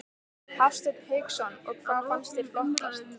Hafsteinn Hauksson: Og hvað fannst þér flottast?